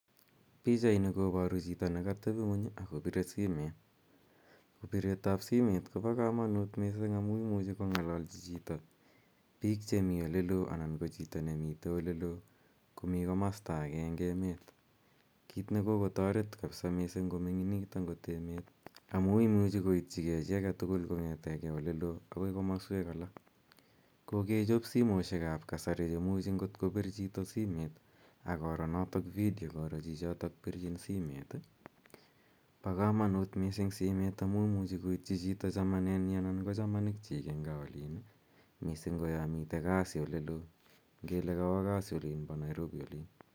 Pichaini koparu chito ne katepi ng'uny ak kopire simet. Piret ap simet ko pa kamanut missing' amu imuchi kong'alalchi chito piik che mitei ole loo komi komasta age eng' emet, kiit ne kokotaret kapsa missing' komining'it agot emet amu imuchi koitchigei chi age tugul kong'ete ge ole loo akoi komaswek alak. Kikechop simoshek ap kasari che imuchi ngot kopir chito simet ak koro notok video koro chichotok pirchin simet. Pa kamanut mssing' simet amu imuchi koitchi chito chamanennyi anan ko chamanikchik eng' gaa olin missin' ko ya mitei kasi ole loo. Ngele kawa kasi olin pa Nairobi olin.